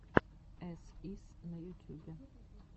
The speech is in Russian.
эс ис на ютюбе